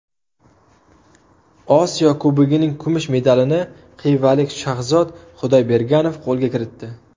Osiyo Kubogining kumush medalini xivalik Shahzod Xudoyberganov qo‘lga kiritdi.